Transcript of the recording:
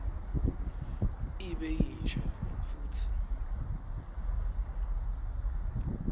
ibe yinsha futsi